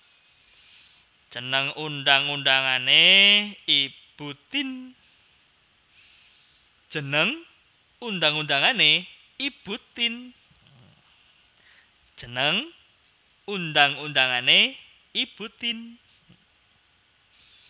Jeneng undang undangané Ibu Tien